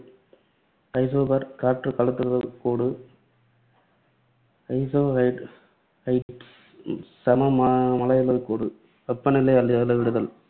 isobar, காற்று கோடு, isohyets, isohyets, சம மழையளவுக் கோடு, வெப்பநிலையை அள~ அளவிடுதல்